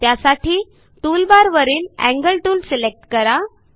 त्यासाठी टूलबारवरील angle tool select करा